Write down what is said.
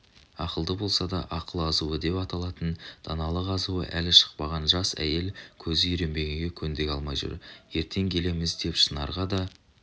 ақылды болса да ақыл-азуы деп аталатын даналық азуы әлі шықпаған жас әйел көзі үйренбегенге көндіге алмай жүр ертең келеміз деп шынарға да